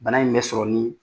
Bana in bɛ sɔrɔ ni